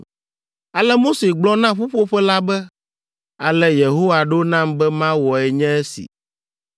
Ale Mose gblɔ na ƒuƒoƒe la be, “Ale Yehowa ɖo nam be mawɔe nye esi.”